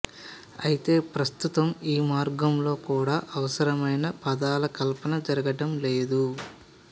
అయితే ప్రస్తుతం ఈ మార్గంలో కూడా అవసరమైన పదాల కల్పన జరగడంలేదు